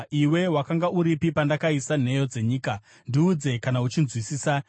“Iwe wakanga uripi pandakaisa nheyo dzenyika? Ndiudze, kana uchinzwisisa.